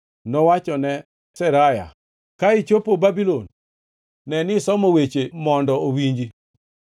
Nowachone Seraya, “Ka ichopo Babulon, ne ni isomo wechegi mondo owinji.